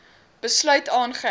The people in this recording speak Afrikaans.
besluit aangeheg